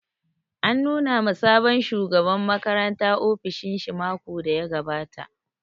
An nuna ma sabon shugaban makaranta ofishin shi makon da ya gabata